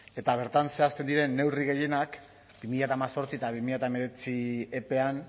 eta bertan zehazten diren neurri gehienak bi mila hemezortzi eta bi mila hemeretzi epean